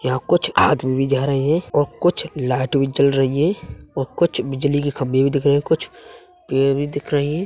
यहाँ कुछ आदमी जा रहे है और कुछ लाइट भी जल रही हैं और कुछ बिजली के खम्भे भी दिख रहे है। कुछ पेर भी दिख रही हैं।